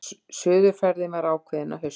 Suðurferðin var ákveðin að hausti.